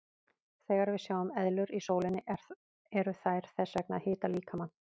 Þegar við sjáum eðlur í sólinni eru þær þess vegna að hita líkamann.